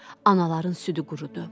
Anaların südü qurudu.